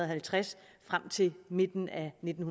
halvtreds frem til midten af nitten